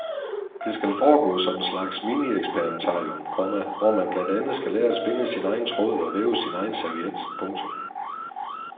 Det skal foregå som en slags minieksperimentarium, komma hvor man blandt andet skal lære at spinde sin egen tråd og væve sin egen serviet. punktum